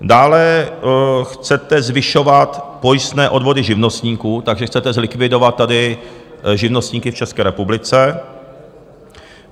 Dále chcete zvyšovat pojistné odvody živnostníků, takže chcete zlikvidovat tady živnostníky v České republice.